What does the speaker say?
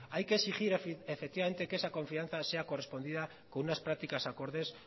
hay que exigir efectivamente que esa confianza sea correspondida con unas prácticas acordes